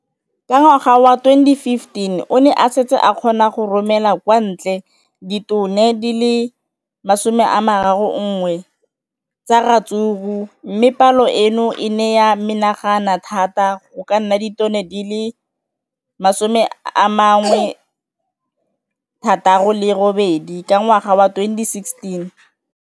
Ka ngwaga wa 2015, o ne a setse a kgona go romela kwa ntle ditone di le 31 tsa ratsuru mme palo eno e ne ya menagana thata go ka nna ditone di le 168 ka ngwaga wa 2016.